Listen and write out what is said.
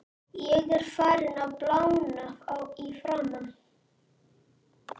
Ég er farinn að blána í framan.